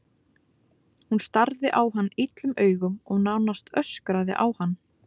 Hún starði á hann illum augum og nánast öskraði á hann.